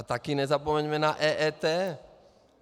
A taky nezapomeňme na EET.